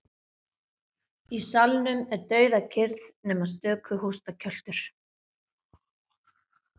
Í salnum er dauðakyrrð nema stöku hóstakjöltur.